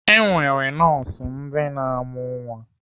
E nwere nọọsụ ndị na-amụ nwa.